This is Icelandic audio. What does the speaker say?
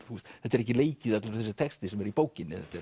þetta er ekki leikið allur þessi texti sem er í bókinni